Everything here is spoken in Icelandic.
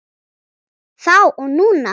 Þá og núna.